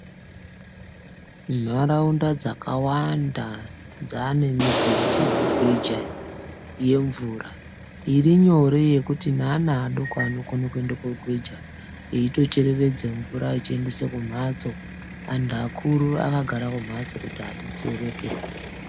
Nharaunda dzakawanda dzaane migoghi yekugweja iyi yemvura irinyore yekuti neana adoko anokone kuende kuogweja, eitoc hereredze mvura achiendese kumhatso. Antu akuru akagara kumhatso kuti adetsereke.